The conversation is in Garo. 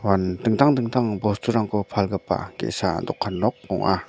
dingtang dingtang bosturangko palgipa ge·sa dokan nok ong·a.